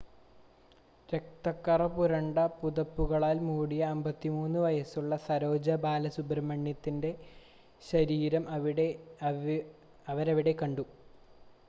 രക്തക്കറ പുരണ്ട പുതപ്പുകളാൽ മൂടിയ 53 വയുസ്സുള്ള സരോജ ബാലസുബ്രഹ്‌മണ്യൻ്റെ ശരീരം അവരവിടെ കണ്ടു